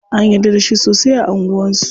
An yarda da shi sosai a anguwan su.